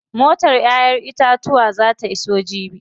Motar ƴaƴen itatuwan zaa ta iso jibi.